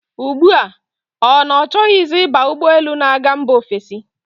Ugbu a, ọ na-achọzi ịba ụgbọelu na-aga mba ofesi.